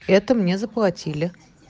это мне заплатили